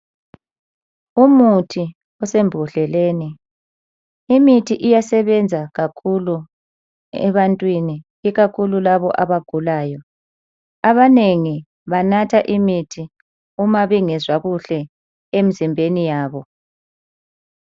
Umuthi osembodleleni. Imithi iyasebenza kakhulu ebantwini ikakhulu labo abagulayo. Abanengi banatha imithi uma bengezwa kuhle emzimbeni yabo.